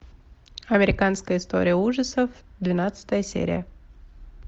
американская история ужасов двенадцатая серия